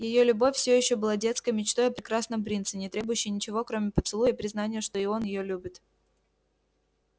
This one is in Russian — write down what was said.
её любовь всё ещё была детской мечтой о прекрасном принце не требующей ничего кроме поцелуя и признания что и он её любит